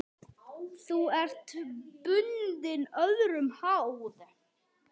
Nú ertu bundin, öðrum háð.